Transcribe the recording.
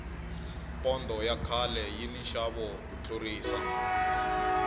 pondo ya khale yi ni nxavo ku tlurisa